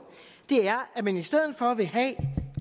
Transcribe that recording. er at man i stedet for at ville have et